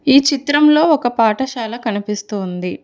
ఈ చిత్రంలో ఒక పాఠశాల కనిపిస్తూ ఉంది.